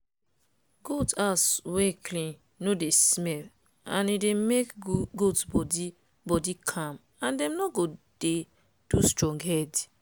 goat house wey clean no dey smell and e dey make goat body body calm and dem no go dey do strong head.